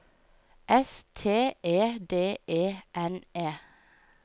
S T E D E N E